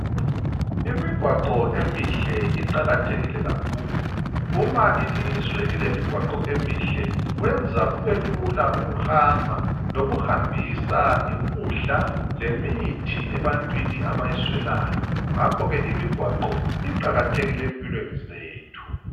Imigwaqo emihle iqakathekile kakhulu uma ilizwe lilemigwaqo emihle kwenza kubelula ukuhamba lokuhambisa ukudla lemithi ebantwini abayiswelayo ngakhoke imigwaqo iqakathekile empilweni zethu.